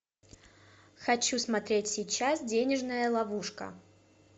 хочу смотреть сейчас денежная ловушка